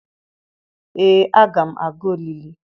ee aga m aga olili